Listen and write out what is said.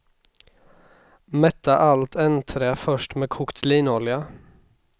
Mätta allt ändträ först med kokt linolja.